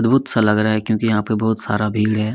सा लग रहा है क्यूंकि यहाँ पे बहुत सारा भीड़ है।